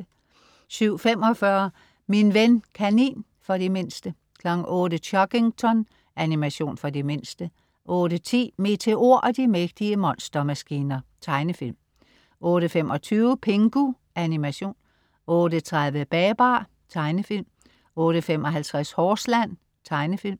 07.45 Min ven kanin. For de mindste 08.00 Chuggington. Animation for de mindste 08.10 Meteor og de mægtige monstermaskiner. Tegnefilm 08.25 Pingu. Animation 08.30 Babar. Tegnefilm 08.55 Horseland. Tegnefilm